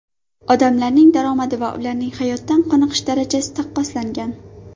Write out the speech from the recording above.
Odamlarning daromadi va ularning hayotdan qoniqish darajasi taqqoslangan.